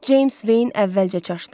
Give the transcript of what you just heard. Ceyms Veyn əvvəlcə çaşdı.